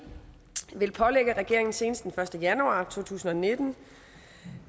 vil pålægge regeringen senest den første januar to tusind og nitten